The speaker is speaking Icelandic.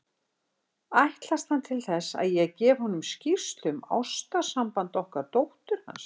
Ætlast hann til þess, að ég gefi honum skýrslu um ástarsamband okkar dóttur hans?